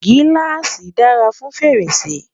giláasi dára fún fèrèsé